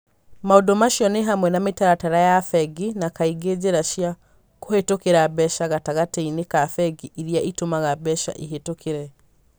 Maũndũ macio nĩ hamwe na mĩtaratara ya bengi na, kaingĩ, njĩra cia kũhĩtũkĩra mbeca gatagatĩ-inĩ ka bengi iria itũmaga mbeca ihĩtũkĩre.